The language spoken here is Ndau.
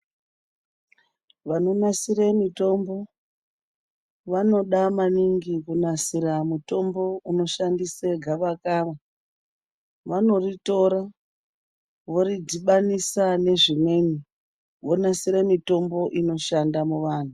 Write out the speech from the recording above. Vanonasire mitombo vanoda maningi kunasira mutombo unoshandise gavakava. Vanoritora voridhibanisa nezvimweni vonasire mitombo inoshanda muvanhu.